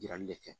Yirali de kɛ